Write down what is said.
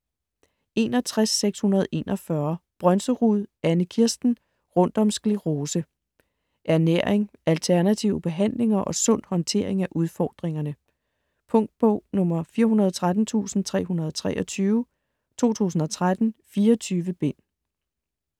61.641 Brønserud, Anne-Kirsten: Rundt om sklerose Ernæring, alternative behandlinger og sund håndtering af udfordringerne. Punktbog 413323 2013. . 24 bind.